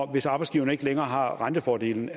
hvis arbejdsgiverne ikke længere har rentefordelen